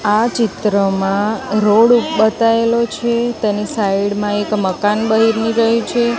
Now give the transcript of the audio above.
આ ચિત્રમાં રોડ બતાઇલો છે તેની સાઈડ માં એક મકાન બયની રહ્યું છે.